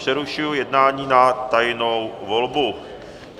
Přerušuji jednání na tajnou volbu.